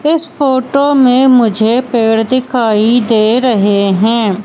इस फोटो में मुझे पेड़ दिखाई दे रहे हैं।